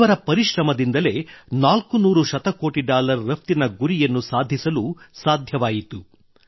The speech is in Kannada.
ಇವರ ಪರಿಶ್ರಮದಿಂದಲೇ 400 ಶತಕೋಟಿ ಡಾಲರ್ ರಫ್ತಿನ ಗುರಿಯನ್ನು ಸಾಧಿಸಲು ಸಾಧ್ಯವಾಯಿತು